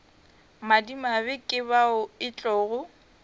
madimabe ke bao e tlogo